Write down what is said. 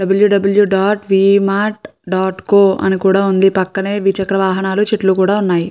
W W dot Vmart dot co అని కూడా ఉంది పక్కనే ద్విచక్ర వాహనాలు చెట్లు కూడా ఉన్నాయి.